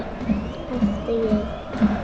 æpti ég.